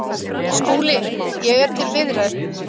SKÚLI: Ég er til viðræðu.